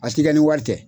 A ti kɛ ni wari tɛ